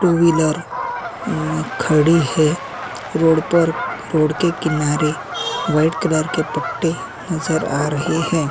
To wheeler खड़ी है road पर रोड के किनारे व्हाइट कलर के पट्टे नजर आ रहे हैं।